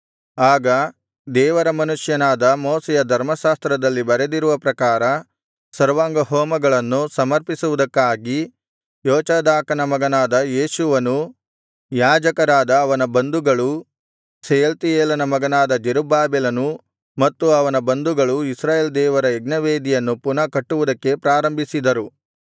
ಆಗ ದೇವರ ಮನುಷ್ಯನಾದ ಮೋಶೆಯ ಧರ್ಮಶಾಸ್ತ್ರದಲ್ಲಿ ಬರೆದಿರುವ ಪ್ರಕಾರ ಸರ್ವಾಂಗಹೋಮಗಳನ್ನು ಸಮರ್ಪಿಸುವುದಕ್ಕಾಗಿ ಯೋಚಾದಾಕನ ಮಗನಾದ ಯೇಷೂವನೂ ಯಾಜಕರಾದ ಅವನ ಬಂಧುಗಳೂ ಶೆಯಲ್ತೀಯೇಲನ ಮಗನಾದ ಜೆರುಬ್ಬಾಬೆಲನೂ ಮತ್ತು ಅವನ ಬಂಧುಗಳೂ ಇಸ್ರಾಯೇಲ್ ದೇವರ ಯಜ್ಞವೇದಿಯನ್ನು ಪುನಃ ಕಟ್ಟುವುದಕ್ಕೆ ಪ್ರಾರಂಭಿಸಿದರು